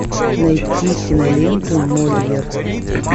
найти киноленту мольер